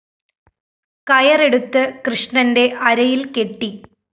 കയറെടുത്ത് കൃഷ്ണന്റെ അരയില്‍ കെട്ടി